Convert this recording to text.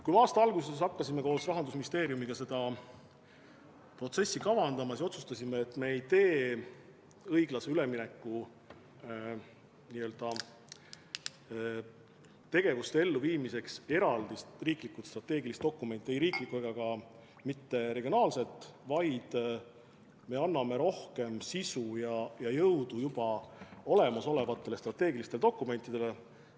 Kui me aasta alguses hakkasime koos Rahandusministeeriumiga seda protsessi kavandama, siis otsustasime, et me ei tee õiglase ülemineku tegevuste elluviimiseks eraldi riiklikku strateegilist dokumenti – ei riiklikku ega ka mitte regiooni oma –, vaid me anname rohkem sisu ja jõudu juba olemasolevatele strateegilistele dokumentidele.